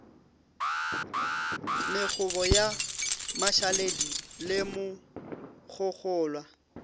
mekgobo ya mašaledi le mogogolwa